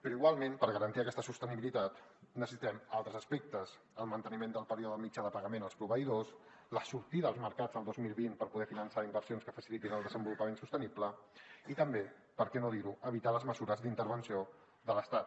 però igualment per garantir aquesta sostenibilitat necessitem altres aspectes el manteniment del període mitjà de pagament als proveïdors la sortida als mercats el dos mil vint per poder finançar inversions que facilitin el desenvolupament sostenible i també per què no dir ho evitar les mesures d’intervenció de l’estat